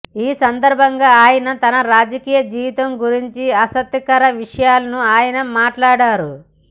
ఈ సందర్భంగా ఆయన తన రాజకీయ జీవితం గురించి ఆసక్తికర విషయాలను ఆయన మాట్లాడారు